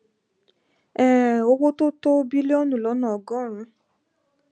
um owó tó tó bílíọnù lọnà ọgọrùnún